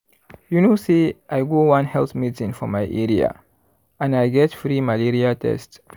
you know say i go one health meeting for my area and i get free malaria test.